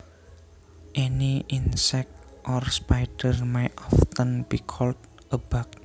Any insect or spider may often be called a bug